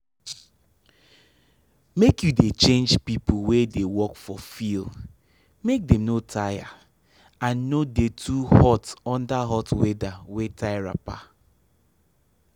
make you dey change pipo wey dey work for fiel make dem no tire and no dey too hot under hot weather wey tie wrapper.